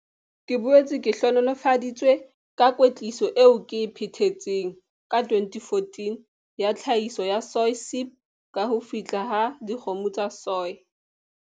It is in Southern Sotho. Ke boetse ke hlohonolofaditswe ka kwetliso eo ke e phethetseng ka 2014 ya Tlhahiso ya Soy Sip ka ho fihla ha dikgomo tsa soy.